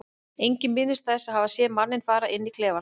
Enginn minnist þess að hafa séð manninn fara inn í klefann.